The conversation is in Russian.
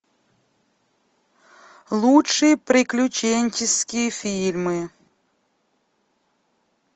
лучшие приключенческие фильмы